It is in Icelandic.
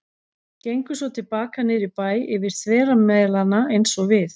Gengu svo til baka niður í bæ yfir þvera Melana eins og við.